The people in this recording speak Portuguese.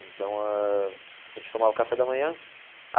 Então ãh, a gente tomava o café da manhã.